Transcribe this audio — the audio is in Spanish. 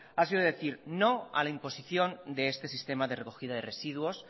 ha sido decir no a la imposición de este sistema de recogida de residuos